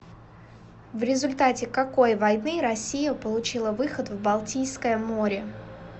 в результате какой войны россия получила выход в балтийское море